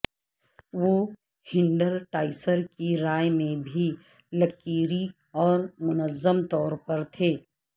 وہ ہینڈرٹاسسر کی رائے میں بھی لکیری اور منظم طور پر تھے